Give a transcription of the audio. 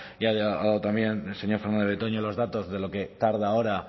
ya ha dado también el señor fernandez de betoño los datos de lo que tarda ahora